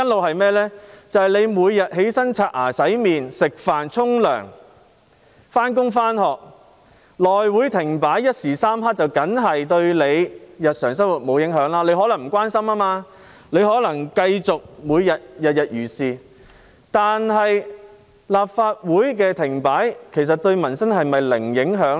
大家每天起床、刷牙、洗臉、吃飯、洗澡、上班、上課，內務委員會停擺一時三刻，固然不會影響市民的日常生活，有些人可能不關心政事，繼續每天如常生活，但立法會停擺對民生是否真的零影響呢？